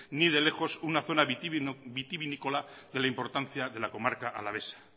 ni de lejos una zona vitivinícola de la importancia de la comarca alavesa